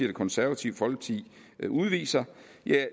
det konservative folkeparti udviser